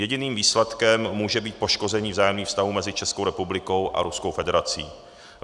Jediným výsledkem může být poškození vzájemných vztahů mezi Českou republikou a Ruskou federací.